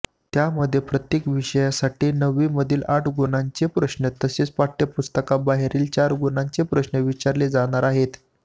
त्यामध्ये प्रत्येक विषयासाठी नववीमधील आठ गुणांचे प्रश्न तसेच पाठयपुस्तकाबाहेरील चार गुणांचे प्रश्न विचारले जाणार आहेत